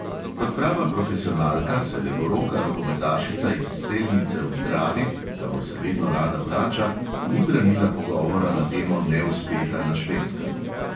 Kot prava profesionalka se levoroka rokometašica iz selnice ob dravi, kamor se vedno rada vrača, ni branila pogovora na temo neuspeha na švedskem.